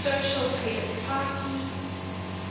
social credit party